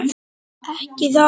Ekki það nei?